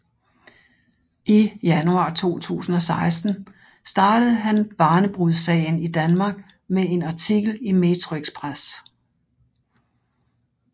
I januar 2016 startede han barnebrudssagen i Danmark med en artikel i Metroxpress